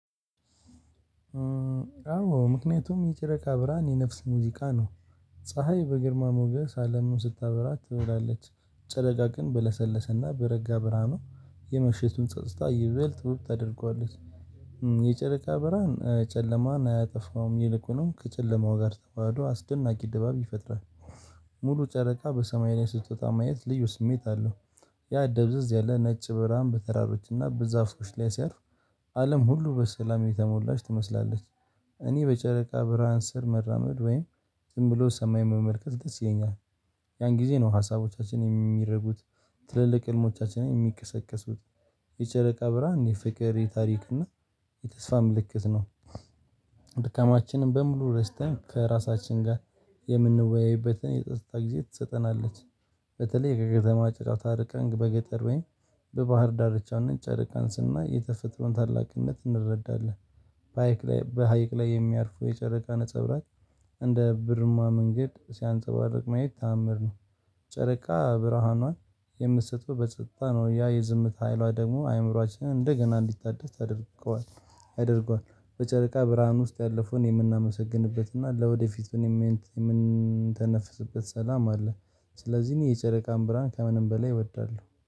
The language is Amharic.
አዎ ምክንያቱም የጨረቃ ብርሃን የነፍስ ሙዚቃ ነው። ፀሀይ በግርማ ሞገስ አለሙን ስታበራ ትዉላለች ጨረቃ ግን በለሰለሰና በረጋ በረሃኖ የምሽቱን ጸጥታ ይበል ዉብ ታደርገዋለች። የጨረቃ በርሀን ጨለማን አያጠፋውም ይልቁኑም ከጨለማው ጋር ተዋህዶ አስደናቂ ድባብ ይፈጥራል። ሙሉ ጨረቃ በሰማይ ላይ ስትወጣ ማየት ልዩ ስሜት አለው። ያ ደብዘዝ ያለ ነጭ ብርሃን በተራሮችና በዛፍዎች ላይ ሲያርፍ። አለም ሁሉ በሰላም የተሞላች ትመስላለች። እኔ በጨረቃ ብርሃን ስር መራመድ ወይም ዝም ብሎ ሰማይ መመልከት ደስ ይለኛል። ያን ጊዜ ነው ሀሳቦቻችን የሚረጉት። ትልልቅ ህልሞቻችን የሚቀሰቅሱት። የጨለቃ ብርሃን የፍቅር የታሪክ እና የተስፋ ምልክት ነው። ድካማችንን በሙሉ ረስተን ከራሳችን ጋር የምንወያይበትን የጸጥታ ጊዜ ትሰጠናለች። በተለይ ከከተማ ጫጫታ ርቀን በገጠር ወይ በባህር ዳርቻን ጨርቃን ስናይ የተፈጥሮን ታላቅነት እንረዳለን። በሃይቅ ላይ በሃይቅ ላይ የሚያርፉ የጨረቃ ነጻብራቅ እንደ ብርማ መንገድ ሲያንጸባርቅ ማየት ተአምር ነው። ጨረቃ ብርሃኗን የምትሰጠው በጸጥታ ነው ያ የዝምታ ኃይሏ ደግሞ አይምሮአችን እንደገና እንዲታደስ ታደርገዋለህ ያደርገዋል። በጨረቃ ብርሃን ውስጥ ያለፈውን የምናመሰግንበትና ለወደፊቱ የምንተነፍስበት ሰላም አለ። ስለዚህ እኔ የጨረቃን ብርሃን ከምንም በላይ እወዳለሁ